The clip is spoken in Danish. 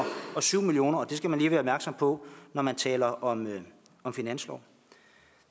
syv million kr og det skal man lige være opmærksom på når man taler om om finanslov